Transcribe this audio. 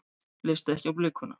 Leist ekki á blikuna.